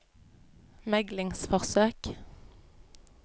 meglingsforsøk